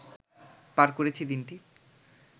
পার করেছি দিনটি